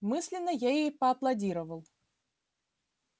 мысленно я ей поаплодировал